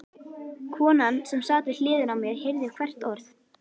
Konan sem sat við hliðina á mér heyrði hvert orð.